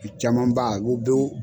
caman ba